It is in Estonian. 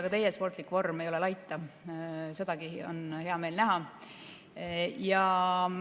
Ka teie sportlik vorm ei ole laita, sedagi on hea meel näha.